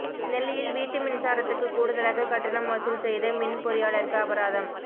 நெல்லையில் வீட்டு மின்சாரத்துக்கு கூடுதலாக கட்டணம் வசூல் செய்த மின் பொறியாளருக்கு அபராதம்